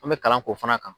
An bɛ kalan k'o fana kan